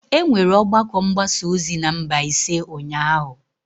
E nwere ọgbakọ mgbasa ozi na Mbaise ụnyahụ.